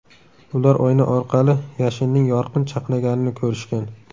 Ular oyna orqali yashinning yorqin chaqnaganini ko‘rishgan.